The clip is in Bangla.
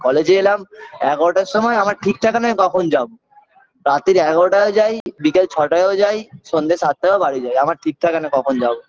college -এ এলাম এগারোটার সময় আমার ঠিক থাকে না আমি কখন যাব রাত্তির এগারোটায়ও যাই বিকেল ছটায়ও যাই সন্ধ্যে সাতটায়ও বাড়ি যাই আমার ঠিক থাকে না আমি কখন যাবো